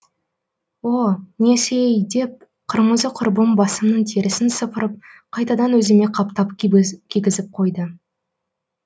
о несі ей деп қырмызы құрбым басымның терісін сыпырып қайтадан өзіме қаптап кигізіп қойды